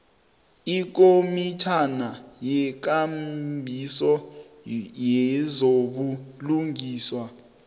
ikomitjhana yekambiso yezobulungiswa